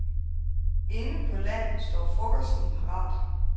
Inde på land står frokosten parat.